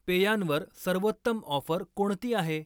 पेयांवर सर्वोत्तम ऑफर कोणती आहे?